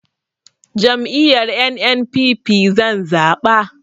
Jam'iyyar NNPP zan zaɓa